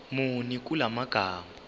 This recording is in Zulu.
muni kula magama